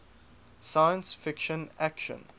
science fiction action